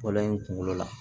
Fɔlɔ in kunkolo la